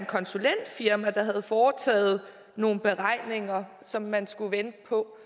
konsulentfirma der havde foretaget nogle beregninger som man skulle vente på